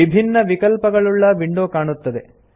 ವಿಭಿನ್ನ ವಿಕಲ್ಪಗಳುಳ್ಳ ವಿಂಡೋ ಕಾಣುತ್ತದೆ